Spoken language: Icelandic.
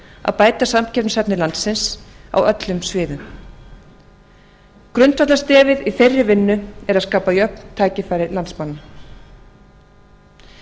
að bæta samkeppnishæfni landsins á öllum sviðum grundvallarstefið í þeirri vinnu er að skapa jöfn tækifæri landsmanna